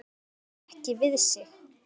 Hún réði ekki við sig.